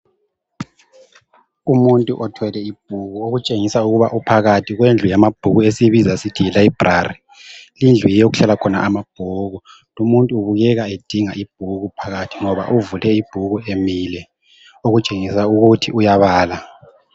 Umuntu othwele ibhuku okutshengisa ukuba uphakathi kwendlu yama bhuku esiyibiza sithi yilayibhulali indlu okuhlala khona amabhuku lumuntu kukhanya edinga ibhuku phakathi ngoba uvule Ibhuku emile okutshengisa ukuthi uyabala